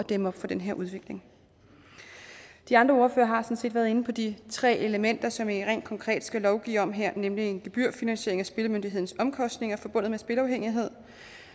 dæmme op for den udvikling de andre ordførere har sådan set været inde på de tre elementer som vi rent konkret skal lovgive om her nemlig en gebyrfinansiering af spillemyndighedens omkostninger forbundet med spilafhængighed